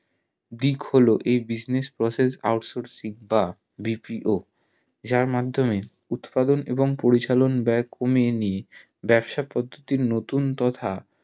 দিক হলো এই business process out sourcing বা BPO যার উৎপাদন এবং পরিচালন বয়ে কমিয়ে নিয়ে ব্যবসা পদ্ধুতির নতুন তথা